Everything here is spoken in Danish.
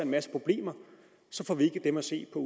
masse problemer får vi ikke dem at se på